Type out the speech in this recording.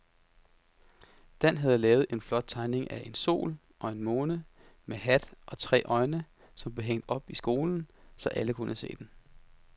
Dan havde lavet en flot tegning af en sol og en måne med hat og tre øjne, som blev hængt op i skolen, så alle kunne se den.